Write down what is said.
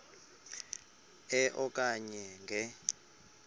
e okanye nge